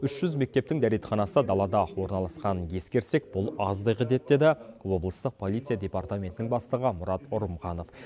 үш жүз мектептің дәретханасы далада орналасқанын ескерсек бұл аздық етеді деді облыстық полиция департаментінің бастығы мұрат ұрымханов